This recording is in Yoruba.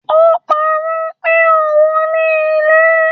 O paro pé ohùn ní ilé